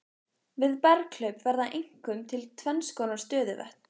Við berghlaup verða einkum til tvennskonar stöðuvötn.